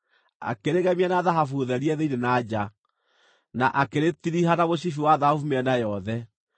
Akĩrĩgemia na thahabu therie thĩinĩ na nja, na akĩrĩtiriha na mũcibi wa thahabu mĩena yothe.